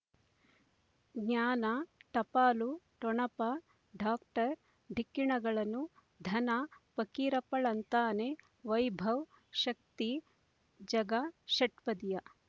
ಜ್ಞಾನ ಟಪಾಲು ಠೊಣಪ ಡಾಕ್ಟರ್ ಢಿಕ್ಕಿ ಣಗಳನು ಧನ ಫಕೀರಪ್ಪ ಳಂತಾನೆ ವೈಭವ್ ಶಕ್ತಿ ಝಗಾ ಷಟ್ಪದಿಯ